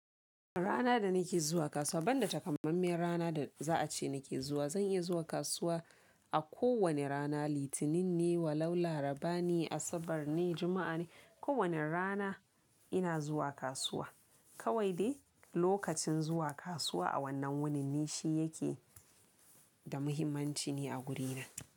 Rana da nake zuwa kasuwa, ban da takamammiyan rana da za a ce nake zuwa, zan iya zuwa kasuwa a ko wane rana litinin ne wa lau laraba ne asabar ne jumu'a ne ko wane rana. Ina zuwa kasuwa. Kawai dai lokacin zuwa kasuwa a wannan wunin ni shi yake da muhimmanci ni a gurina.